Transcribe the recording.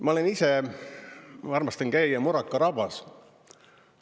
Ma ise armastan käia Muraka rabas.